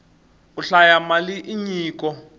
ku hlaya mali i nyiko